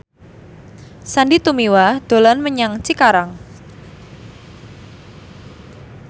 Sandy Tumiwa dolan menyang Cikarang